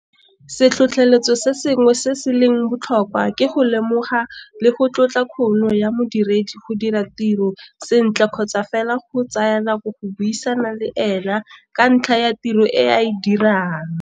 Setlhotlheletso se sengwe se se leng botlhokwa ke go lemoga le go tlotla kgono ya modiredi go dira tiro sentle kgotsa fela go tsaya nako go buisana le ene ka ntlha ya tiro e a e dirang.